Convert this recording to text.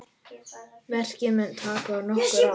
Verkið mun taka nokkur ár.